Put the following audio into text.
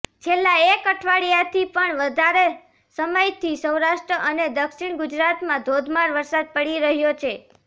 છેલ્લા એક અઠવાડિયાથી પણ વધારે સમયથી સૌરાષ્ટ્ર અને દક્ષિણ ગુજરાતમાં ધોધમાર વરસાદ પડી રહ્યો છે